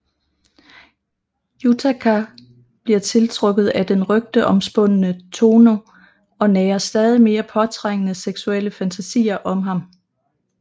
Yutaka bliver tiltrukket af den rygteomspundne Tohno og nærer stadig mere påtrængende seksuelle fantasier om ham